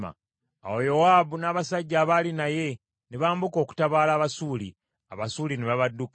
Awo Yowaabu n’abasajja abaali naye ne bambuka okutabaala Abasuuli, Abasuuli ne babadduka.